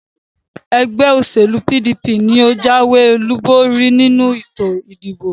Ẹgbẹ́ òṣèlú PDP ni ó jáwé olúborí nínú ètò ìdìbò